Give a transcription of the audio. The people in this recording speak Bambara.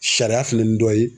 Sariya fɛnɛni dɔ ye.